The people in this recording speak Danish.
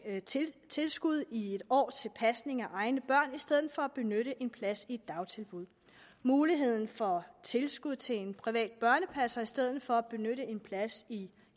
tilskud i en år til pasning af egne børn i stedet for at benytte en plads i et dagtilbud muligheden for tilskud til en privat børnepasser i stedet for at benytte en plads i